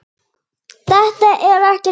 Þetta er ekkert mál!